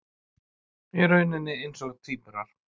Í rauninni eins og tvíburar.